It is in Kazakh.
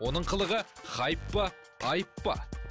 оның қылығы хайп па айып па